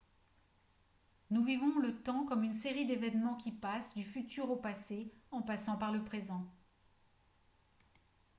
nous vivons le temps comme une série d'événements qui passent du futur au passé en passant par le présent